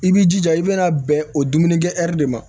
I b'i jija i bɛna bɛn o dumunikɛ de ma